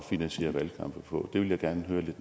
finansiere valgkamp på det vil jeg gerne